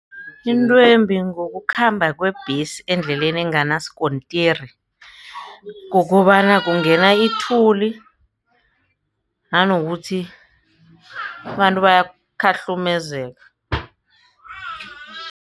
Intwembi ngokukhamba kwebhesi endleleni enganasikontiri kukobana kungena ithuli nanokuthi abantu baya khahlukumezeka.